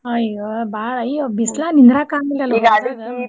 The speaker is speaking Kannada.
ಅಯ್ಯೋ ಬಾಳ್ ಅಯ್ಯೋ ಬಿಸ್ಲಾಗ್ ನೀಂದ್ರಾಕ್ ಆಗ್ಲಿಲ್ಲಲ್ಲ.